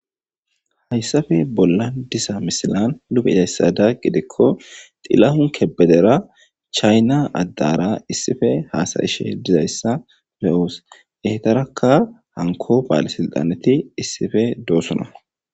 hayssafe bolla diza misilan nu beyidassada qidikko xilahun kebedera chayna addara issife haasa'ishe dizayssa be'oos yehetarakka hanko baale silxaneti issife doossona